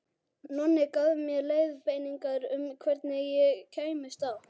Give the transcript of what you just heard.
Nonni gaf mér leiðbeiningar um hvernig ég kæmist á